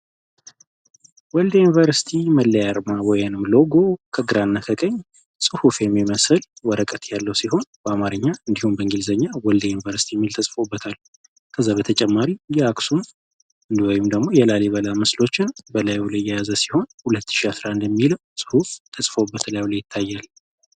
ወልዲያ ዩኒቨርሲቲ መለርማ ወየንም ሎጎ ከግራ ከቀኝ ጽሑፍ የሚመስል ወረቀት ያለው ሲሆን በአማርኛ እንዲሁም በእንግሊዘኛ ወልድ ዩኒቨርሲቲ ሚል ተጽፎበታል ከዘበ የተጨማሪ የአክሱም እንዲወይም ደግሞ የላሊ በላ መስሎችን በላዩውለይ የያዘ ሲሆን 2011ሚል ጽሑሑፍ ተጽፎበት ላይ ላይ ይታያል።